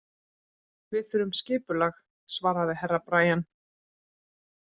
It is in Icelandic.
Við þurfum skipulag, svaraði Herra Brian.